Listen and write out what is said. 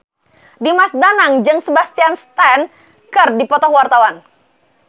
Dimas Danang jeung Sebastian Stan keur dipoto ku wartawan